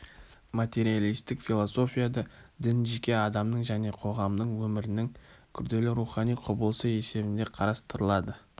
материалистік философияда дін жеке адамның және қоғамның өмірінің күрделі рухани құбылысы есебінде қарастырылады